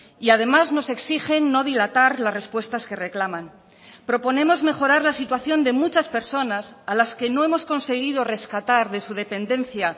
y además nos exigen no dilatar las respuestas que reclaman proponemos mejorar la situación de muchas personas a las que no hemos conseguido rescatar de su dependencia